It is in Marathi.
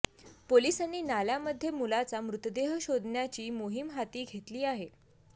पोलिसांनी नाल्यामध्ये मुलाचा मृतदेह शोधण्याची मोहीम हाती घेतली आहे